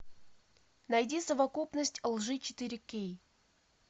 найди совокупность лжи четыре кей